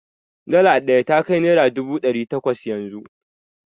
Dala ɗaya ya kai naira dubu ɗari takwas yanzu.